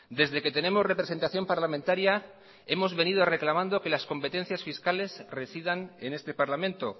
desde que tenemos representación parlamentaria hemos venido reclamando que las competencias fiscales residan en este parlamento